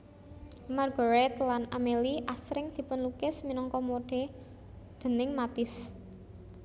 Marguerite lan Amélie asring dipunlukis minangka modè déning Matisse